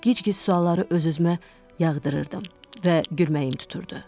Gic-gic sualları öz-özümə yağdırırdım və gülümsəyib dururdu.